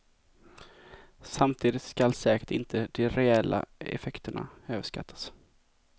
Samtidigt skall säkert inte de reella effekterna överskattas.